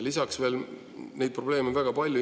Lisaks veel neid probleeme on väga palju.